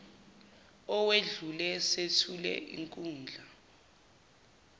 owedlule sethule inkundla